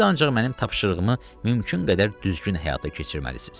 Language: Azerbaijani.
Siz ancaq mənim tapşırığımı mümkün qədər düzgün həyata keçirməlisiz.